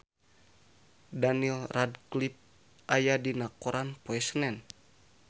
Daniel Radcliffe aya dina koran poe Senen